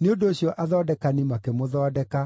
Nĩ ũndũ ũcio athondekani makĩmũthondeka,